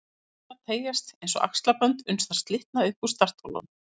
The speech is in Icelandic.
Ræturnar teygjast eins og axlabönd uns þær slitna upp úr startholunum